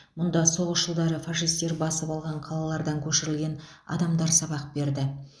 мұнда соғыс жылдары фашистер басып алған қалалардан көшірілген адамдар сабақ берді